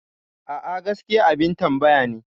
A'a, gaskiyarsa abin tambaya ne.